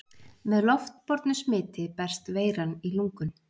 Með loftbornu smiti berst veiran í lungun.